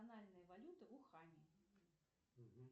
валюты в уханье